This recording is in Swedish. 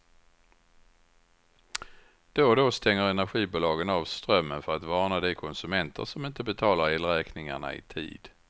Då och då stänger energibolagen av strömmen för att varna de konsumenter som inte betalar elräkningarna i tid.